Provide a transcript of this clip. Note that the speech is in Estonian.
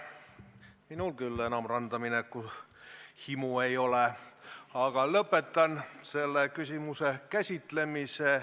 Minul küll enam randa mineku himu ei ole, aga lõpetan selle küsimuse käsitlemise.